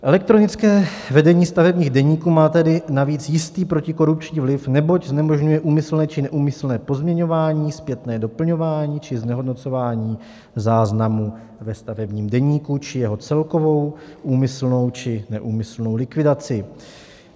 Elektronické vedení stavebních deníků má tedy navíc jistý protikorupční vliv, neboť znemožňuje úmyslné či neúmyslné pozměňování, zpětné doplňování či znehodnocování záznamů ve stavebním deníku či jeho celkovou úmyslnou či neúmyslnou likvidaci.